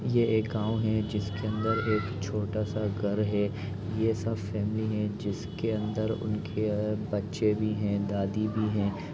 ये एक गाँव है जिसके अंदर एक छोटा स घर है यह सब फैमली है जिसके अंदर उनके बच्चे भी हैं दादी भी हैं।